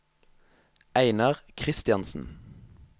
Einar Christiansen